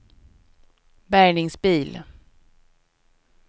bärgningsbil